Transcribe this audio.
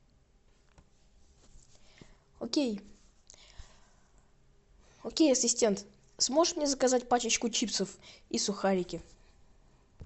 окей окей ассистент сможешь мне заказать пачечку чипсов и сухарики